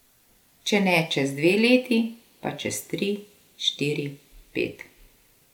Če ne čez dve leti, pa čez tri, štiri, pet.